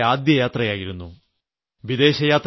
ഇത് അവിടേയ്ക്ക് എന്റെ ആദ്യ യാത്രയായിരുന്നു